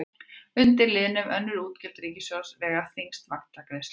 Undir liðnum önnur útgjöld ríkissjóðs vega þyngst vaxtagreiðslur.